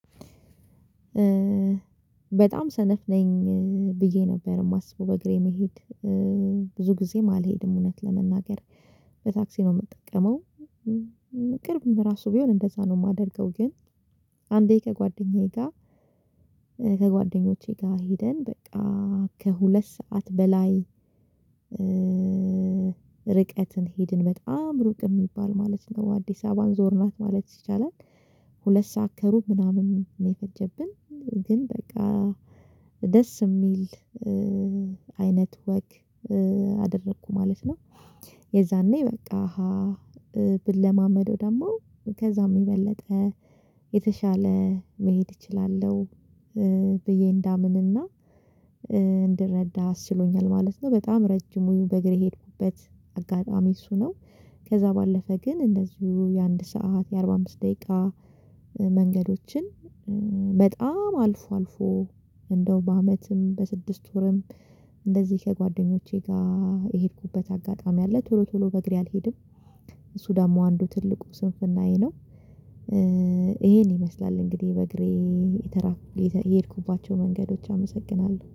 በጣም ሰነፍ ነኝ። ብዬ ነበር የማስበው በእግሬ መሄድ ብዙ ጊዜም አልሄድም እውነት ለመናገር በታክሲ ነው የምጠቀመው። ቅርብም ራሱ ቢሆን እንደዛ ነው የማደርገው ግን አንዴ ከጓደኛዬ ጋር ከጓደኞቼ ጋር ሄደን በቃ ከሁለት ሰዓት በላይ ርቀትን ሄድን በጣም ሩቅ የሚባል ማለት ነው አዲስ አበባን ዞርናት ማለት ይቻላል። ሁለት ሰዓት ከሩብ ምናምን ነው የፈጀብን ግን በቃ ደስ የሚል አይነት ወክ አደረኩ ማለት ነው። የዛኔ በቃ ብለማመደው ደግሞ ከዛም የበለጠ የተሻለ መሄድ እችላለሁ ብዬ እንዳምንና አስችሎኛል ማለት ነው። በጣም ረጅሙ በእግር የሄድኩበት አጋጣሚ እሱ ነው። ከዛ ባለፈ ግን እንደዚሁ የአንድ ሰዓት የአርባ አምስት ደቂቃ መንገዶችን በጣም አልፎ አልፎ እንደው በአመትም በስድስት ወርም እንደዚህ ከጓደኞቼ ጋር የሄድኩበት አጋጣሚ አለ። ቶሎ ቶሎ በእግሬ አልሄድም እሱ ደግሞ አንዱ ትልቁ ስንፍናዬ ነው። ይመስላል እንግዲህ በእግሬ የተራ የሄድኩባቸው መንገዶች አመሰግናለሁ